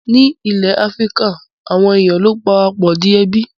Ní ilẹ̀ Áfíríkà, àwọn èèyàn ló ń para pọ̀ di ẹbí